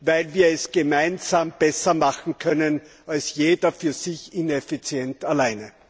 weil wir es gemeinsam besser machen können als jeder für sich ineffizient alleine.